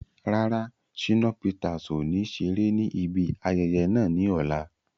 Rárá, Shínà Peters ọ̀ ní ṣeré ní ibi ayẹyẹ náà ní ọ̀la